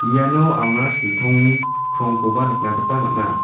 iano anga siltong krongkoba nikna gita man·a.